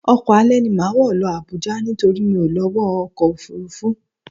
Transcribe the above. Ọkọ alẹ́ ni màá wọ̀ lọ Abuja nítorí mi ò lọ́wọ́ ọkọ̀ Òfurufú